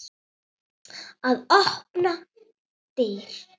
Að opna dyr.